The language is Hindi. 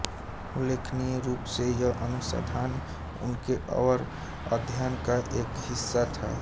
उल्लेखनीय रूप से यह अनुसंधान उनके अवर अध्ययन का एक हिस्सा था